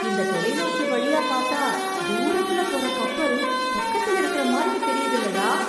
இந்த தொலைநோக்கி வழியா பாத்தா, தூரத்துல போற கப்பல், பக்கத்துல இருக்கற மாதிரி தெரியுதுல்லடா...